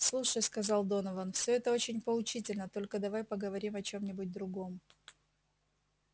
слушай сказал донован это все очень поучительно только давай поговорим о чем-нибудь другом